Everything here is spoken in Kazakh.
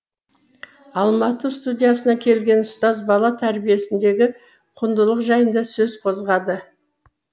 алматы студиясына келген ұстаз бала тәрбиесіндегі құндылық жайында сөз қозғады